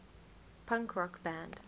punk rock band